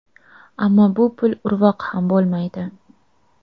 Ammo bu pul urvoq ham bo‘lmaydi.